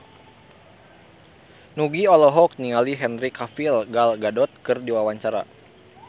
Nugie olohok ningali Henry Cavill Gal Gadot keur diwawancara